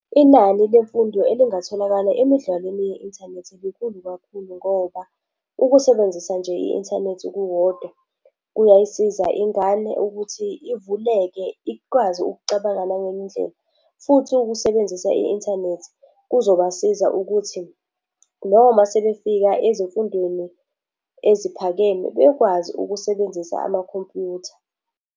Inani lemfundo elingatholakala emidlalweni ye-inthanethi likhulu kakhulu ngoba ukusebenzisa nje i-inthanethi kukodwa, kuyayisiza ingane ukuthi ivuleke ikwazi ukucabanga nangenye indlela. Futhi ukusebenzisa i-inthanethi kuzobasiza ukuthi noma sebefika ezifundweni eziphakeme, bekwazi ukusebenzisa amakhompyutha.